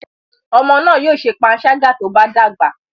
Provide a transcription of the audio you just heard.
Ọmọ náà yóò ṣe panṣágà tó bá dàgbà.